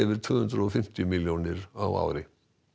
tvö hundruð og fimmtíu milljónir á ári